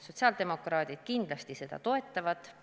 Sotsiaaldemokraadid kindlasti seda eelnõu toetavad.